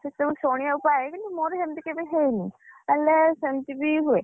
ସେସବୁ ଶୁଣିବାକୁ ପାଏ କିନ୍ତୁ ମୋର ସେମିତି କେବେ ହେଇନି ହେଲେ କାହିଁକିନା ସେମିତିବି ହୁଏ,